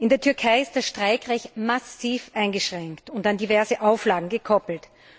In der Türkei ist das Streikrecht massiv eingeschränkt und an diverse Auflagen gekoppelt.